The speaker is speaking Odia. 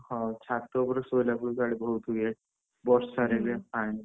ହଁ ଛାତ ଉପରେ ଶୋଉଲେ ବି ବହୁତ୍ ଇଏ, ବର୍ଷାରେ ପାଣି,